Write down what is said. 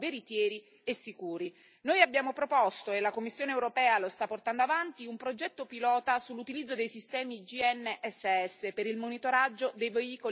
Noi abbiamo proposto, e la Commissione europea lo sta portando avanti, un progetto pilota sull'utilizzo dei sistemi GNSS per il monitoraggio dei veicoli pesanti ad uso commerciale.